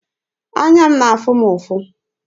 Anya na-afụ m ụfụ.